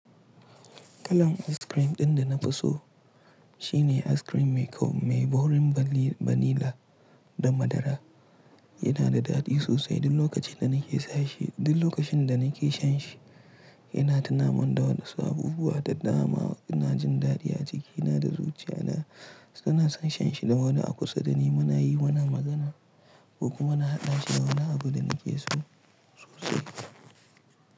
Kalan askirim ɗin da na fi so shine askirim mai kaurin banila da madara. Yana da daɗi sosai duk lokacin da nake sha shi. Yana tunamon da wasu abubuwa da dama. Ina jin daɗi a jikina da zuciya na. San shan shi da wani a kusa da ni. Muna yi wannan magana ko kuma muna haɗa shi da wani abu da nake so sosai.